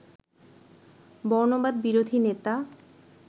বর্ণবাদ বিরোধী নেতা